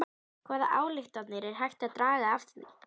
Hvaða ályktanir er hægt að draga af því?